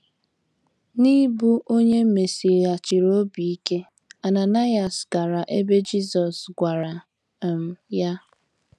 N’ịbụ onye e mesighachiri obi ike, Ananaịas gara ebe Jisọs gwara um ya.